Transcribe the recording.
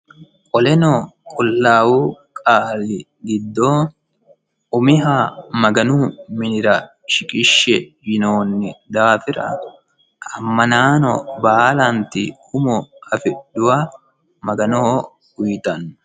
koleno qullawu qaali giddo umiha maganu minira shiqishshe yinoonni daafira ammanaano baalaanti umo afidhuha maganoho uyittanno